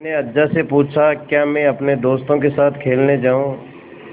मैंने अज्जा से पूछा क्या मैं अपने दोस्तों के साथ खेलने जाऊँ